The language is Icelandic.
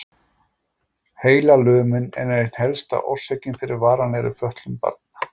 Heilalömun er ein helsta orsökin fyrir varanlegri fötlun barna.